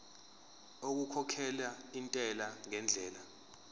okukhokhela intela ngendlela